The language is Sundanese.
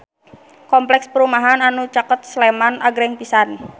Kompleks perumahan anu caket Sleman agreng pisan